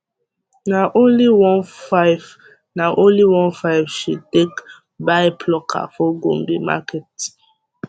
na only 1500 na only 1500 she take buy plucker for gombe market